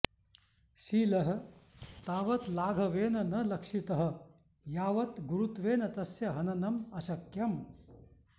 शीलः तावत् लाघवेन न लक्षितः यावत् गुरुत्वेन तस्य हननम् अशक्यम्